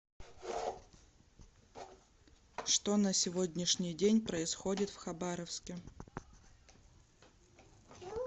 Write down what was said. что на сегодняшний день происходит в хабаровске